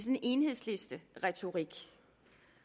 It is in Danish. en enhedslisteretorik